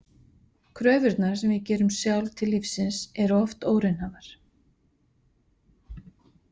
Kröfurnar sem við gerum sjálf til lífsins eru oft óraunhæfar.